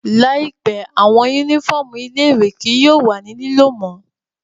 Laipẹ, awọn unifọmú ile-iwe kii yóò wa ni lilo mo